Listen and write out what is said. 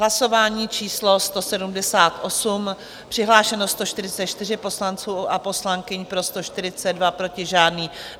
Hlasování číslo 178, přihlášeno 144 poslanců a poslankyň, pro 142, proti žádný.